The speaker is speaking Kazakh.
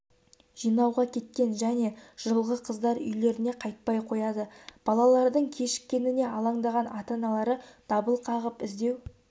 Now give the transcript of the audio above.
жинауға кеткен және жылғы қыздар үйлеріне қайтпай қояды балалардың кешіккеніне алаңдаған ата-аналары дабыл қағып іздеу